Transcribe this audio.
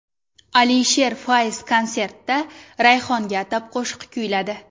Alisher Fayz konsertida Rayhonga atab qo‘shiq kuyladi .